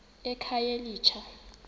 ekhayelitsha